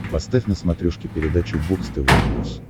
поставь на смотрешке передачу бокс тв плюс